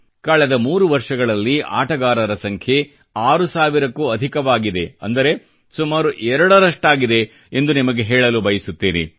ಆದರೆ ಕಳೆದ ಮೂರು ವರ್ಷಗಳಲ್ಲಿ ಆಟಗಾರರ ಸಂಖ್ಯೆ 6 ಸಾವಿರಕ್ಕೂ ಅಧಿಕವಾಗಿದೆ ಅಂದರೆ ಸುಮಾರು ಎರಡರಷ್ಡಾಗಿದೆ ಎಂದು ನಿಮಗೆ ಹೇಳಲು ಬಯಸುತ್ತೇನೆ